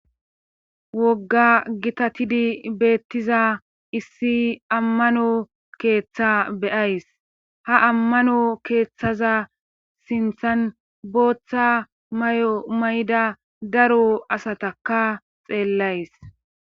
wogga gitatidi beettiza issi ammano keeththa be7ays ha ammano keeththaza sinthan booththa mayo mayida daro asatakka xeellays.